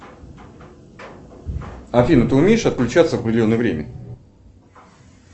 афина ты умеешь отключаться в определенное время